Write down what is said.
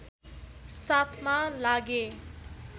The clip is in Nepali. साथमा लागे